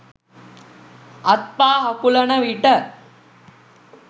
අත් පා හකුලන විට